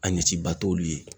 A ɲɛ ci ba t'olu ye.